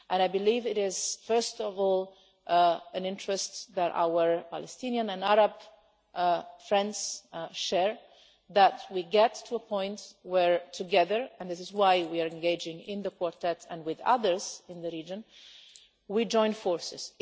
I believe it is first of all an interest that our Palestinian and Arab friends share that we get to a point where together and this is why we are engaging in the Quartet and with others in the region we join forces.